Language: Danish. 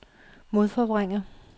modforvrænger